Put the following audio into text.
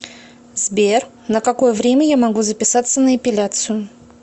сбер на какое время я могу записаться на эпиляцию